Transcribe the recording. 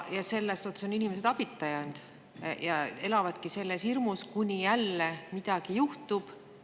Inimesed on jäänud abita ja elavadki hirmus, kuni jälle midagi juhtub.